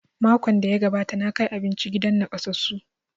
Makon da ya gabata na kai abinci gidan nakasassu